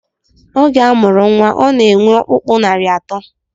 Oge a mụrụ nnwa ọhụrụ, ọ na-enwe ọkpụkpụ narị atọ